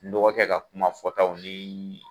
N dɔgɔkɛ ka kuma fɔtaw ni